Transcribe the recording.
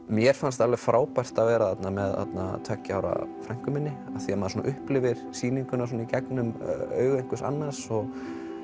mér fannst alveg frábært að vera þarna með tveggja ára frænku minni af því maður svona upplifir sýninguna í gegnum augu einhvers annars og